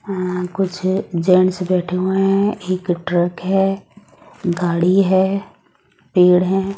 यहां कुछ जेंट्स बैठे हुए हैं एक ट्रक है गाड़ी है पेड़ है।